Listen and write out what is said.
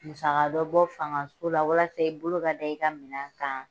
Musaka dɔ bɔ fangaso la walasa i bolo ka da i ka minan kan.